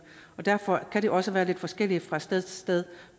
og derfor kan det også være lidt forskelligt fra sted til sted